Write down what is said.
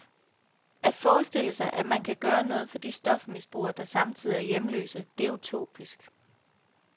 At forestille sig at man kan gøre noget for de stofmisbrugere, der samtidig er hjemløse, det er utopisk.